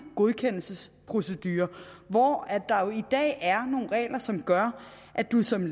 godkendelsesprocedure hvor der jo i dag er nogle regler som gør at man som